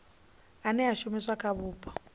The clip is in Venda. ane a shumiswa kha vhupo